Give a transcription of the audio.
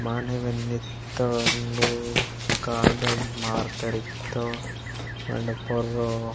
मानेम निथो एंडो कारदन मार्थरिथो एंड परो --